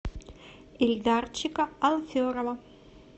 ильдарчика алферова